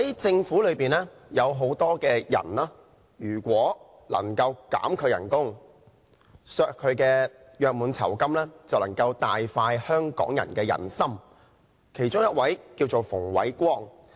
政府裏有很多職員，如果他們的薪酬及約滿酬金能夠被削減，就能夠大快香港人的人心，其中一位名為馮煒光。